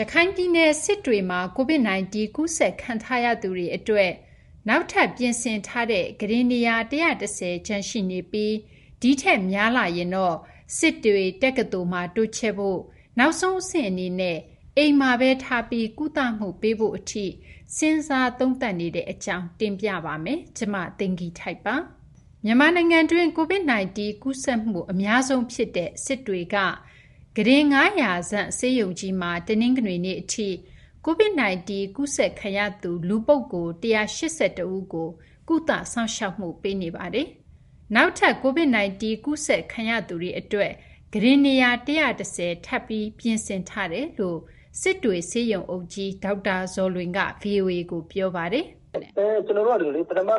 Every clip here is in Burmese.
ရခိုင်ပြည်နယ် စစ်တွေမှာ COVID-19 ကူးစက်ခံရသူတွေအတွက် နောက်ထပ် ပြင်ဆင်ထားတဲ့ ကုတင်နေရာ ၁၁၀ ကျန်ရှိနေပြီး ဒီထက်များလာရင်တော့ စစ်တွေတက္ကသိုလ်မှာ တိုးချဲ့ဖို့၊ နောက်ဆုံးအဆင့်အနေနဲ့ အိမ်မှာပဲထားပြီး ကုသမှု ပေးဖို့အထိ စဉ်းစားသုံးသပ်နေရတဲ့အကြောင်း မသိင်္ဂီထိုက် စုစည်းတင်ပြပေးထားပါတယ်။ မြန်မာနိုင်ငံတွင်း COVID-19 ကူးစက်မှု အများဆုံးဖြစ်တဲ့ စစ်တွေက ကုတင် ၅၀၀ ဆန့် ဆေးရုံကြီးမှာ တနင်္ဂနွေနေ့အထိ COVID-19 ကူးစက်ခံရသူ လူပုဂ္ဂိုလ် ၁၈၁ ဦးကို ကုသစောင့်ရှောက်မှု ပေးနေပါတယ်။ နောက်ထပ် COVID-19 ကူးစက်ခံရသူတွေအတွက် ကုတင်နေရာ ၁၁၀ ထပ်ပြီး ပြင်ဆင်ထားတယ်လို့ စစ်တွေ ဆေးရုံအုပ်ကြီး ဒေါက်တာ ဇော်လွင်က ဗွီအိုအေကို ပြောပါတယ်။ “ပထမက ၁၀၀၊ နောက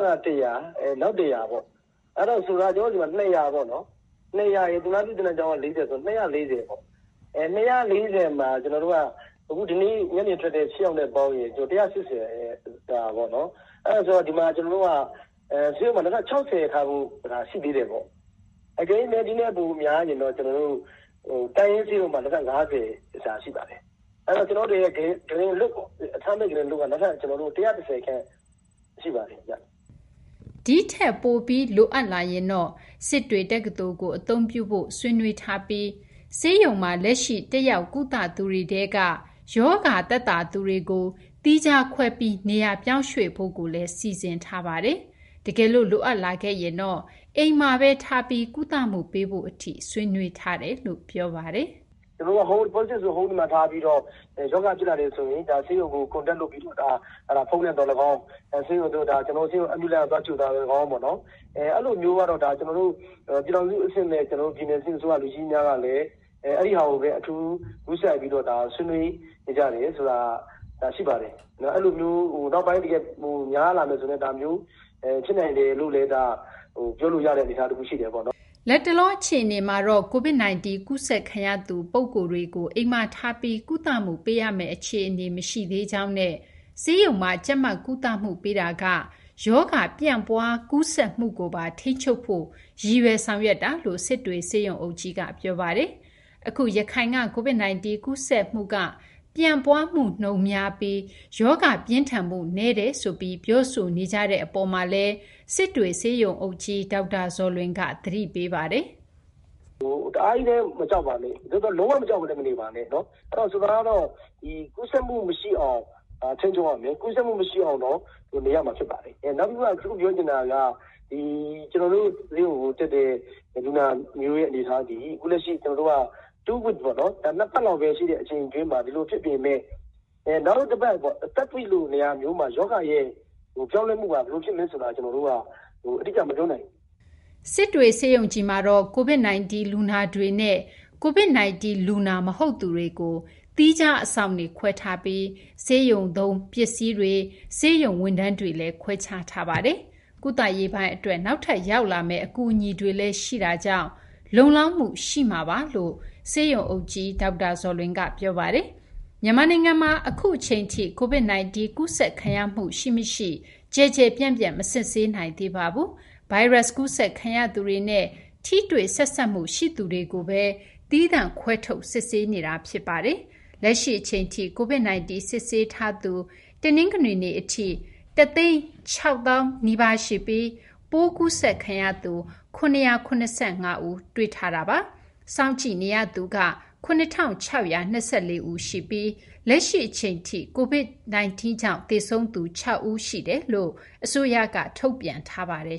် ၁၀၀ ပေါ့၊ အဲဒါကြောင့် စစ်တွေဆေးရုံမှာ ၂၀၀ ပေါ့။ သူနာပြုသင်တန်းကျောင်းက ၄၀ ဆိုတော့ ၂၄၀ ပေါ့။ အဲဒီ ၂၄၀ မှာ ကျနော်တို့ ညနေကထွက်တဲ့ ၈ ယောက်နဲ့ ပေါင်းရင် ၁၈၀ စာပေါ့နော်။ အဲတော့ ကျနော်တို့ဆေးရုံမှာ နောက်ထပ် ၆၀ စာ ရှိသေးတယ်ပေါ့။ အကယ်၍များ ဒီထက်ပိုများရင်တော့ တိုင်းရင်းဆေးရုံမှာ နောက်ထပ် ၅၀ စာ ရှိပါတယ်။ အဲတော့ ကျနော်တို့ ကုတင်လွတ် အခန်းလွတ်က နောက်ထပ် ၁၁၀ ခန့် ရှိပါတယ်ဗျ။” ဒီအရေအတွက်ထက် ထပ်ပြီး လိုအပ်လာရင်တော့ စစ်တွေတက္ကသိုလ်ကို အသုံးပြုဖို့ ဆွေးနွေးညှိနှိုင်းမှုတွေ ရှိထားပြီး ဆေးရုံမှာ လက်ရှိ တက်ရောက်ကုသသူတွေထဲက ရောဂါသက်သာသူတွေကို သီးခြားခွဲပြီး နေရာပြောင်းရွှေ့ထားဖို့လည်း စီစဉ်ထားပါတယ်။ တကယ်လို့ လိုအပ်လာခဲ့ရင်တော့ အိမ်မှာပဲ ကုသမှုပေးဖို့ထိ ဆွေးနွေးထားပါတယ်။ “Positive တွေ့တဲ့လူကို အိမ်မှာပဲထားပြီး ရောဂါဖြစ်လာတယ်ဆိုရင် ဆေးရုံကို Contact လုပ်ပြီး ဖုန်းနဲ့သော်လည်းကောင်း၊ ဆေးရုံ အရေးပေါ်ကားနဲ့ သွားကြိုတာသော်လည်းကောင်းပေါ့၊ အဲလိုမျိုးကတော့ ကျနော်တို့ ပြည်ထောင်စုအဆင့်နဲ့ ပြည်နယ်အဆင့် လူကြီးမင်းများကလည်း အဲဒီဟာကိုပဲ အထူးဂရုစိုက်ပြီးတော့ ဒါ ဆွေးနွေးနေကြတယ်ဆိုတာ ရှိပါတယ်။ အဲလိုမျိုး နောက်ပိုင်း တကယ်များလာမယ်ဆို ဒါမျိုးဖြစ်နိုင်တယ်လို့လည်း ဒါ ပြောလို့ရတဲ့ အနေအထားတခု ရှိတယ်ပေါ့နော်။” လတ်တလော အခြေအနေမှာတော့ COVID-19 ကူးစက်ခံရသူ ပုဂ္ဂိုလ်တွေကို အိမ်မှာထားပြီး ကုသမှုပေးရမယ့် အခြေအနေ မရှိသေးကြောင်းနဲ့ ဆေးရုံမှာ ကြပ်မတ် ကုသမှုပေးတာက ရောဂါ ပြန့်ပွားကူးစက်မှုကိုပါ ထိန်းချုပ်ဖို့ ရည်ရွယ် ဆောင်ရွက်တာလို့ စစ်တွေဆေးရုံအုပ်ကြီးက ပြောပါတယ်။ အခု ရခိုင်က COVID-19 ကူးစက်မှုက ပြန့်ပွားမှုနှုန်းများပြီး ရောဂါပြင်းထန်မှု နည်းတယ်ဆိုပြီး ပြောဆိုနေကြတဲ့ အပေါ်မှာလည်း စစ်တွေဆေးရုံအုပ်ကြီး ဒေါက်တာ ဇော်လွင်က သတိပေးပါတယ်။ “ကူးစက်မှု မရှိအောင်တော့ ထိန်းချုပ်ရမယ်။ ကူးစက်မှု မရှိအောင်တော့ နေရမှာ ဖြစ်ပါတယ်။ နောက်တခု ပြောချင်တာက ကျနော်တို့ ဆေးရုံကိုတက်တဲ့ လူနာတွေရဲ့ အနေအထားဟာဆိုရင် အခုလက်ရှိ ၂ ပတ်လောက်ပဲ ရှိတဲ့အချိန်မှာ ဒီလိုဖြစ်ပေမယ့် နောက်ထပ်တပတ် တတိယပတ်လိုမှာ ရောဂါရဲ့ ပြောင်းလဲမှုက ဘယ်လိုဖြစ်မလဲဆိုတာ ကျနော်တို့က အတိအကျ မပြောနိုင်ဘူး။” စစ်တွေဆေးရုံကြီးမှာတော့ COVID-19 လူနာတွေနဲ့ COVID-19 လူနာမဟုတ်သူတွေကို ဆေးရုံမှာ သီးခြား အဆောင်တွေခွဲထားပြီး ဆေးရုံပစ္စည်း အသုံးအဆောင်တွေ၊ ဆေးရုံဝန်ထမ်းတွေလည်း ခွဲခြားထားပါတယ်။ ကုသရေးပိုင်းအတွက် နောက်ထပ် ရောက်လာမယ့် အကူအညီတွေလည်း ရှိတဲ့အတွက် လုံလောက်မှုရှိတဲ့ အနေအထားပါလို့လည်း ဆေးရုံအုပ်ကြီး ဒေါက်တာ ဇော်လွင်က ပြောပါတယ်။ မြန်မာနိုင်ငံမှာ အခုအချိန်ထိ COVID-19 ကူးစက်ခံရမှု ရှိမရှိ ကျယ်ကျယ်ပြန့်ပြန့် မစစ်ဆေးနိုင်သေးပါဘူး။ ဗိုင်းရပ်စ် ကူးစက်ခံရသူတွေနဲ့ ထိတွေ့ဆက်စပ်မှု ရှိသူတွေကိုသာ သီးသန့်ခွဲထုတ် စစ်ဆေးနေတာ ဖြစ်ပါတယ်။ လက်ရှိအချိန်ထိ COVID-19 စစ်ဆေးထားသူ တနင်္ဂနွေနေ့အထိ ၁၅၇,၈၄၃ ဦးရှိပြီး ပိုးကူးစက်ခံရသူ ၇၇၅ ဦး ရှိနေတာပါ။ စောင့်ကြည့်နေသူက ၇,၆၂၄ ဦး ရှိနေပါတယ်။ လက်ရှိအချိန်ထိ COVID-19 ကြောင့် သေဆုံးသူ ၆ ဦးရှိကြောင်း အစိုးရက ထုတ်ပြန်ထားပါတယ်